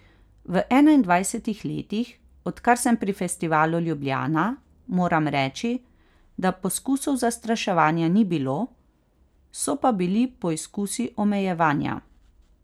V enaindvajsetih letih, odkar sem pri Festivalu Ljubljana, moram reči, da poskusov zastraševanja ni bilo, so pa bili poizkusi omejevanja.